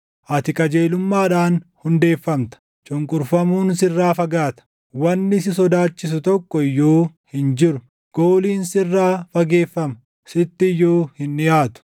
Ati qajeelummaadhaan hundeeffamta; cunqurfamuun sirraa fagaata; wanni si sodaachisu tokko iyyuu hin jiru. Gooliin sirraa fageeffama; sitti iyyuu hin dhiʼaatu.